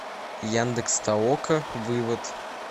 яндекс толока вывод